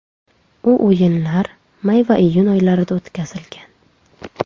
U o‘yinlar may va iyun oylarida o‘tkazilgan.